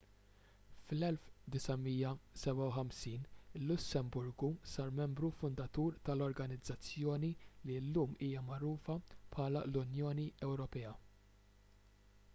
fl-1957 il-lussemburgu sar membru fundatur tal-organizzazzjoni li llum hija magħrufa bħala l-unjoni ewropea